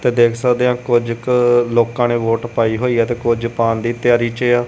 ਤੇ ਦੇਖ ਸਕਦੇ ਆਂ ਕੁਝ ਕ ਲੋਕਾਂ ਨੇ ਵੋਟ ਪਾਈ ਹੋਈ ਐ ਤੇ ਕੁਝ ਪਾਉਣ ਦੀ ਤਿਆਰੀ ਚ ਆ।